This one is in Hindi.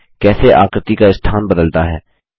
देखें कैसे आकृति का स्थान बदलता है